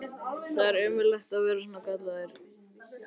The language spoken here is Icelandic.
Það er ömurlegt að vera svona gallaður!